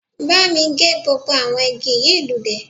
Bámi gé gbogbo àwọn igi yìí lulẹ̀